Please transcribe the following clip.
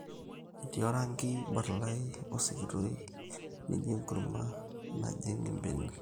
etii orangi barlai o sikitoi nijo enkurma najing imbenek